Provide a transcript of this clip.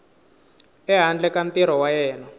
ehandle ka ntirho wa yena